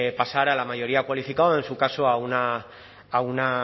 pasara a la mayoría cualificada o en su caso a una